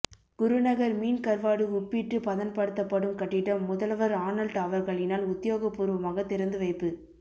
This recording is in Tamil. குருநகர் மீன் கருவாடு உப்பிட்டு பதன் படுத்தப்படும் கட்டிடம் முதல்வர் ஆனல்ட் அவர்களினால் உத்தியோக பூர்வமாக திறந்து வைப்பு